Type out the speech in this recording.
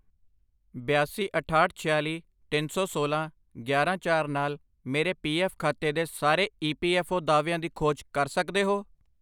ਬਿਆਸੀ, ਅਠਾਹਠ, ਛਿਆਲੀ, ਤਿੰਨ ਸੌ ਸੋਲਾਂ, ਗਿਆਰਾਂ, ਚਾਰ ਨਾਲ ਮੇਰੇ ਪੀ ਐੱਫ਼ ਖਾਤੇ ਦੇ ਸਾਰੇ ਈ ਐੱਫ਼ ਪੀ ਓ ਦਾਅਵਿਆਂ ਦੀ ਖੋਜ ਕਰ ਸਕਦੇ ਹੋ?